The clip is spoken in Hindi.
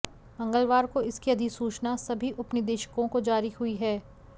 मंगलवार को इसकी अधिसूचना सभी उपनिदेशकों को जारी हुई है